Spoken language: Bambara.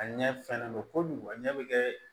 A ɲɛ fɛnnen don kojugu a ɲɛ bɛ kɛ